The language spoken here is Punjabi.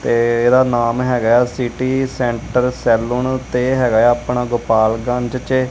ਤੇ ਏਹਦਾ ਨਾਮ ਹੈਗਾ ਹੈ ਸਿਟੀ ਸੈਂਟਰ ਸੈਲੂਨ ਤੇ ਇਹ ਹੈਗਾ ਯਾ ਆਪਣਾ ਗੋਪਾਲ ਗੰਜ ਚ।